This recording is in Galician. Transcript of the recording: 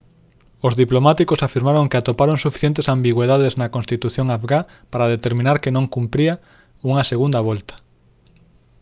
os diplomáticos afirmaron que atoparon suficientes ambigüidades na constitución afgá para determinar que non cumpría unha segunda volta